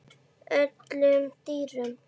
öllum dýrum